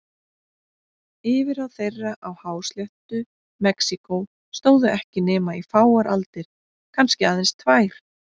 Yfirráð þeirra á hásléttu Mexíkó stóðu ekki nema í fáar aldir, kannski aðeins tvær.